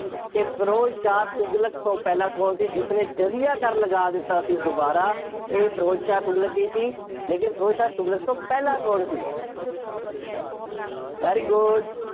ਕਿ ਫਿਰੋਜ਼ ਸ਼ਾਹ ਤੁਗਲਕ ਤੋਂ ਪਹਿਲਾਂ ਕੌਣ ਸੀ? ਜਿਸਨੇ ਜ਼ਜ਼ੀਆ ਕਰ ਲਗਾ ਦਿੱਤਾ ਸੀ, ਦੁਬਾਰਾ, ਇਹ ਫਿਰੋਜ਼ ਸ਼ਾਹ ਤੁਗਲਕ ਹੀ ਸੀ। ਲੇਕਿਨ ਫਿਰੋਜ਼ ਸ਼ਾਹ ਤੁਗਲਕ ਤੋਂ ਪਹਿਲਾਂ ਕੌਣ ਸੀ? very good